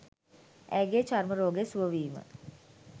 ඇයගේ චර්ම රෝගය සුවවීම